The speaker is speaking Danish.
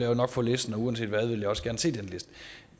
jo nok få listen og uanset hvad vil jeg også gerne se den liste